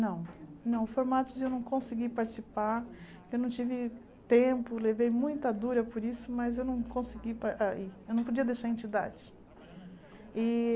Não, não, formatos eu não consegui participar, eu não tive tempo, levei muita dura por isso, mas eu não consegui, pa ah eu não podia deixar a entidade. E